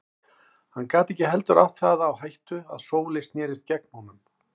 Hann gat ekki heldur átt það á hættu að Sóley snerist gegn honum.